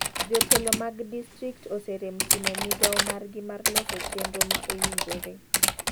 Jotelo madg distrikt oserem timo migao maer gi mar loso chenro ma owinjore.